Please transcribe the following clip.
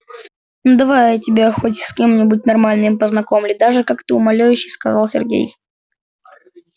ну давай я тебя хоть с кем-нибудь нормальным познакомлю даже как-то умоляюще сказал сергей